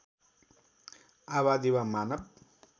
आबादी वा मानव